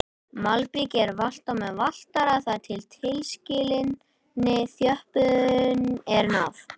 Malbikið er valtað með valtara þar til tilskilinni þjöppun er náð.